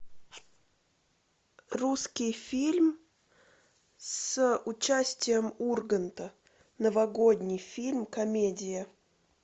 русский фильм с участием урганта новогодний фильм комедия